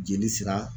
Jeli sira